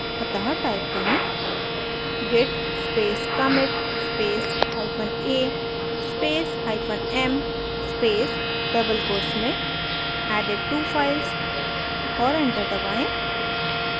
अतः type करें: git space commit space hyphen a space hyphen m space double quotes में added two files और enter दबाएँ